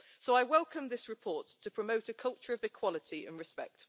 So I welcome this report to promote a culture of equality and respect.